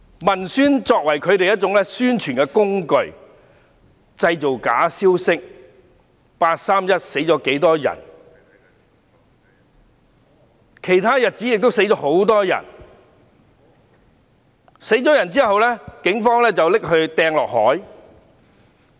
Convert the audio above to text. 文宣作為他們的宣傳工具，製造假消息，例如"八三一"死了多少人、其他日子亦死了很多人、有人死後被警方投入海中等。